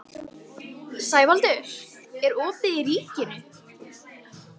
Sævaldur, er opið í Ríkinu?